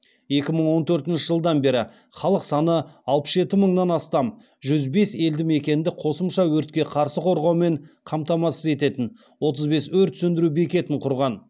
екі мың он төртінші жылдан бері халық саны алпыс жеті мыңнан астам жүз бес елді мекенді қосымша өртке қарсы қорғаумен қамтамасыз ететін отыз бес өрт сөндіру бекетін құрған